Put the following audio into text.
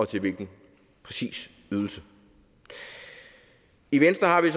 til hvilken ydelse i venstre har vi